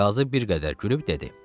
Qazı bir qədər gülüb dedi.